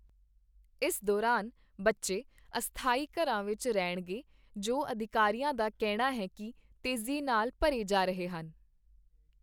ਇਸ ਦੌਰਾਨ, ਬੱਚੇ ਅਸਥਾਈ ਘਰਾਂ ਵਿੱਚ ਰਹਿਣਗੇ, ਜੋ ਅਧਿਕਾਰੀਆਂ ਦਾ ਕਹਿਣਾ ਹੈ ਕੀ ਤੇਜ਼ੀ ਨਾਲ ਭਰੇ ਜਾ ਰਹੇ ਹਨ।